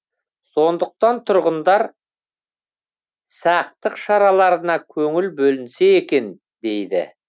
сондықтан тұрғындар сақтық шараларына көңіл бөлінсе екен дейді